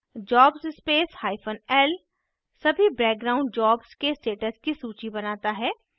jobs space hyphen l सभी background jobs के status की सूची बनाता है